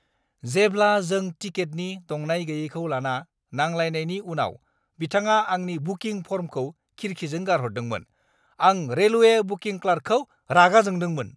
जेब्ला जों टिकेटनि दंनाय गैयैखौ लाना नांलायनायनि उनाव बिथाङा आंनि बुकिं फर्मखौ खिरखिजों गारहरदोंमोन, आं रेलवे बुकिं क्लार्कखौ रागा जोंदोंमोन ।